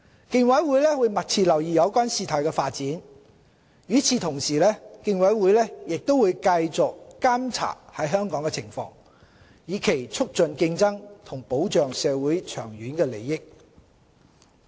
競委會會密切留意有關事態發展，與此同時，競委會亦會繼續監察香港的情況，以促進競爭及保障社會的長遠利益。